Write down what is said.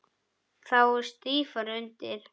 Þá er stífara undir.